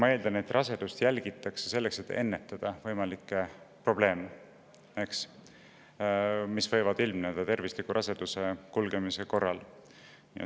Ma eeldan, et rasedust jälgitakse selleks, et ennetada võimalikke probleeme, mis võivad ilmneda ka raseduse kulgemise käigus.